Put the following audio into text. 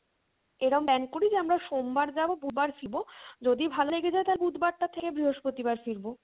এমন plan করি যে আমরা সোমবার যাবো বুধবার ফিরবো, যদি ভালো লেগে যায় তাহলে বুধবার টা থেকে বৃহস্পতিবার ফিরবো